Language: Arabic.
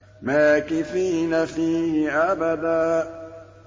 مَّاكِثِينَ فِيهِ أَبَدًا